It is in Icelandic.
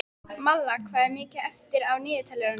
Malla, hvað er mikið eftir af niðurteljaranum?